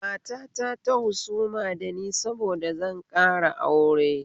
Matata ta husuma dani saboda zan ƙara aure